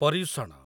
Paryushana